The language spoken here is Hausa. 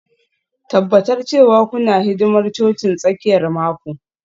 Tabbatar cewa kuna hidimar cocin tsakiyar mako